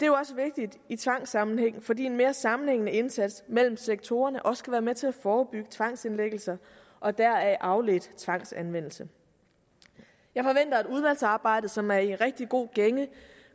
jo også vigtigt i tvangssammenhæng fordi en mere sammenhængende indsats mellem sektorerne også kan være med til at forebygge tvangsindlæggelser og deraf afledt tvangsanvendelse jeg forventer at udvalgsarbejdet som er i en rigtig god gænge